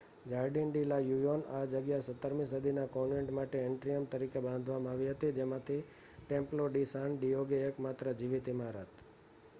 Jardin de la Union આ જગ્યા 17મી સદીના કોન્વેન્ટ માટે એટ્રીયમ તરીકે બાંધવામાં આવી હતી જેમાંથી ટેમ્પ્લો ડી સાન ડિએગો એકમાત્ર જીવિત ઇમારત